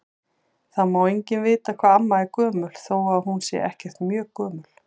Það má enginn vita hvað amma er gömul þó að hún sé ekkert mjög gömul.